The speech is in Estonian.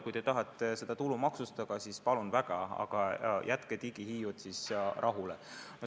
Kui te tahate seda tulumaksustada, siis palun väga, aga jätke digihiiud rahule.